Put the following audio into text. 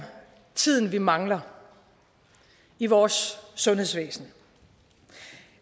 tiden vi mangler i vores sundhedsvæsen